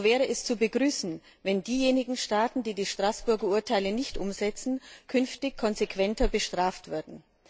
So wäre es zu begrüßen, wenn diejenigen Staaten, die die Straßburger Urteile nicht umsetzen, künftig konsequenter bestraft würden.